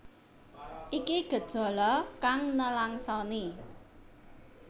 Iki gejala kang nelangsani